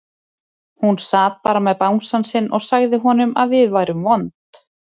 Hún sat bara með bangsann sinn og sagði honum að við værum vond.